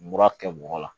Mura kɛ mɔgɔ la